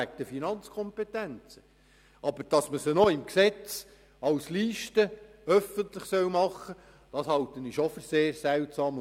Dass wir aber die Systeme in Form einer Liste im Gesetz öffentlich machen, halte ich doch für sehr seltsam.